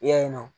I y'a ye nɔ